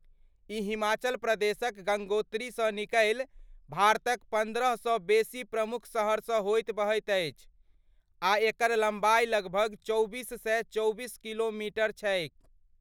ई हिमाचल प्रदेशक गङ्गोत्रीसँ निकलि भारतक पन्द्रहसँ बेसी प्रमुख शहरसँ होइत बहैत अछि आ एकर लम्बाइ लगभग चौबीस सए चौबीस किलोमीटर छैक।।